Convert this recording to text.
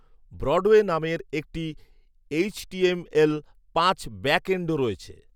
Broadway" নামে এর একটি এইচটিএমএল পাঁচ ব্যাকএন্ডও রয়েছে